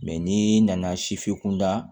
Mɛ n'i nana sifin kunda